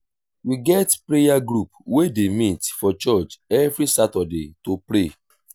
we get prayer group wey dey meet for church every saturday to pray.